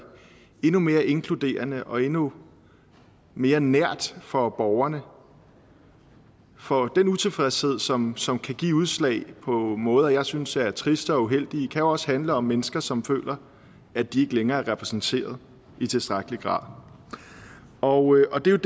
endnu mere inkluderende og endnu mere nært for borgerne for den utilfredshed som som kan give udslag på måder jeg synes er triste og uheldige kan også handle om mennesker som føler at de ikke længere er repræsenteret i tilstrækkelig grad og det er